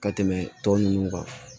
Ka tɛmɛ tɔ ninnu kan